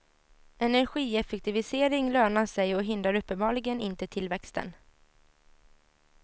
Energieffektivisering lönar sig och hindrar uppenbarligen inte tillväxten.